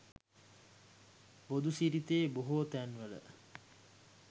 බුදු සිරිතේ බොහෝ තැන්වල